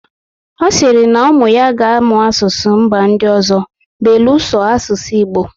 Ọ sịrị na ụmụ ya ga amụ asụsụ mba ndị ọzọ beluso asụsụ Igbo